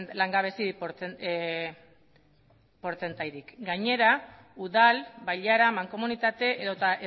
langabezi portzentaiarik gainera udal bailara mankomunitate edota